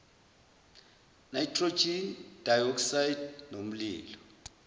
nitrogen dioxide nomlilo